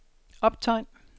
optegn